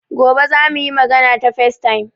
Gobe za mu yi magana ta facetime.